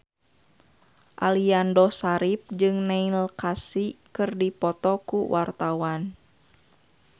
Aliando Syarif jeung Neil Casey keur dipoto ku wartawan